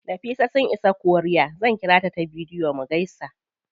Nafisa sun isa korea, zan ƙirata ta bidiyo mu gaisa.